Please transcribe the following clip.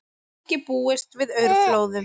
Ekki búist við aurflóðum